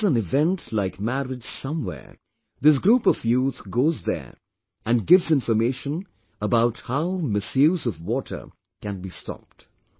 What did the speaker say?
If there is an event like marriage somewhere, this group of youth goes there and gives information about how misuse of water can be stopped